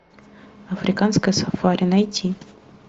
африканское сафари найти